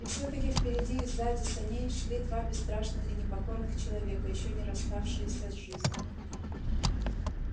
и всё-таки впереди и сзади саней шли два бесстрашных и непокорных человека ещё не расставшиеся с жизнью